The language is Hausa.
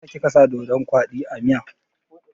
Meyasa kika sa doɗon kwaɗi a miya?